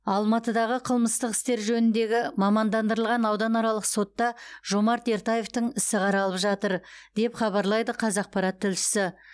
алматыдағы қылмыстық істер жөніндегі мамандандырылған ауданаралық сотта жомарт ертаевтың ісі қаралып жатыр деп хабарлайды қазақпарат тілшісі